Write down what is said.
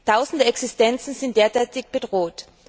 Tausende Existenzen sind derzeit bedroht.